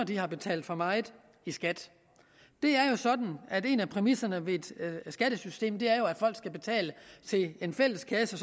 de har betalt for meget i skat det er jo sådan at en af præmisserne i skattesystemet er at folk skal betale til en fælleskasse